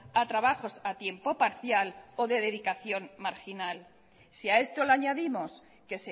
a trabajos a tiempo parcial o de dedicación marginal si a esto le añadimos que